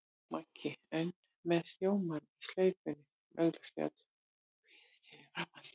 Maggi, enn með rjómann í slaufunni, var augsýnilega töluvert kvíðinn yfir framhaldinu.